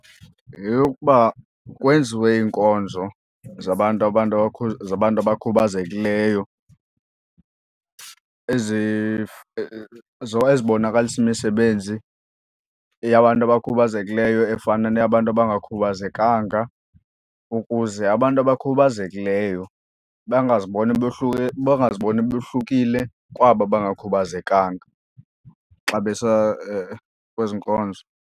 Yeyokuba kwenziwe iinkonzo zabantu abantu zabantu abakhubazekileyo ezibonakalisa imisebenzi yabantu abakhubazekileyo efana neyabantu abangakhubazekanga ukuze abantu abakhubazekileyo bangaziboni bohlulekile kwaba abangakhubazekanga xa besa kwezi nkonzo.